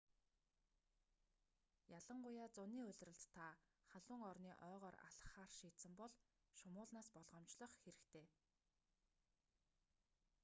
ялангуяа зуны улиралд та халуун орны ойгоор алхахаар шийдсэн бол шумуулнаас болгоомжлох хэрэгтэй